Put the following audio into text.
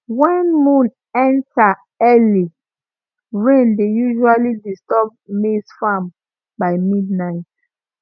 when moon enter early rain dey usually disturb maize farm by midnight